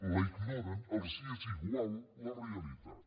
la ignoren els és igual la realitat